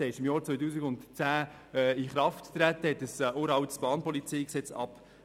Es wurde im Jahr 2010 in Kraft gesetzt und löste ein uraltes Bahnpolizeigesetz ab.